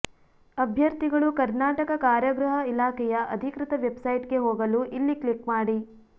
ಅಭ್ಯರ್ಥಿಗಳು ಕರ್ನಾಟಕ ಕಾರಾಗೃಹ ಇಲಾಖೆಯ ಅಧಿಕೃತ ವೆಬ್ಸೈಟ್ಗೆ ಹೋಗಲು ಇಲ್ಲಿ ಕ್ಲಿಕ್ ಮಾಡಿ